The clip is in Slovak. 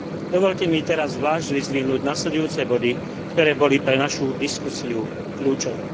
Dovoľte mi teraz zvlášť vyzdvihnúť nasledujúce body, ktoré boli pre našu diskusiu kľúčové.